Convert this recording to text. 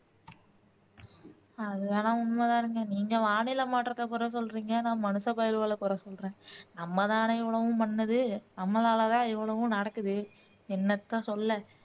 அது வேணும்னா உண்மை தானுங்க நீங்க வானிலை மாற்றத்தை குறை சொல்றீங்க நான் மனுஷ பயலுவல குறை சொல்றேன், நம்ம தானே இவ்வளவும் பண்ணது நம்மளால தான் இவ்வளவும் நடக்குது என்னத்த சொல்ல